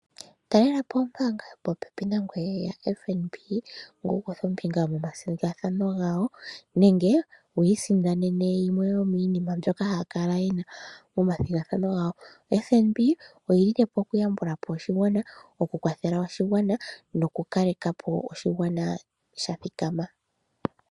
Talela po ombaanga yopopepi nangoye yaFNB, ngoye wu kuthe ombinga momathigathano gawo, nenge wi isindanene yimwe yomiinima mbyono haa kala ye na momathigathano gawo. OFNB oyi lile po oku yambula po oshigwana, oku kwathela oshigwana noku kaleka po oshigwana sha thikama.